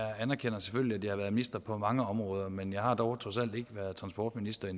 jeg anerkender selvfølgelig at jeg har været minister på mange områder men jeg har dog trods alt endnu ikke været transportminister